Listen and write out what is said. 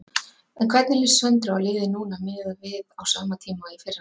En hvernig líst Söndru á liðið núna miðað við á sama tíma í fyrra?